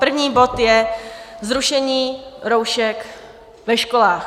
První bod je Zrušení roušek ve školách.